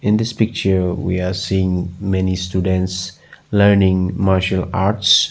In this picture we are seeing many students learning martial arts.